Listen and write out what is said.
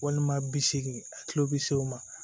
Walima bisegin a kilo bi seegin ma